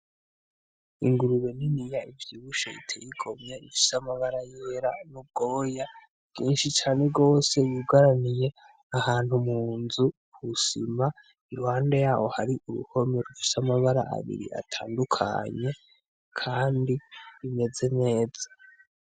Ingurube niniya ivyibushe itey'igomwe, ifis'amabara yera n'ubwoya bwinshi cane gose, yugaraniye ahantu munzu kw'isima, iruhande yaho har'uruhome rufis'amabara abiri atandukanye, kandi rumeze neza.